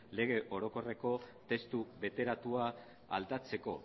lege orokorreko testu bateratua aldatzeko